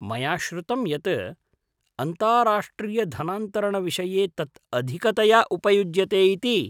मया श्रुतं यत् अन्ताराष्ट्रियधनान्तरणविषये तत् अधिकतया उपयुज्यते इति?